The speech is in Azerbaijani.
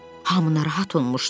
Hamı narahat olmuşdu.